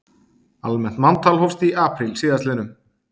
Almennt manntal hófst í apríl síðastliðnum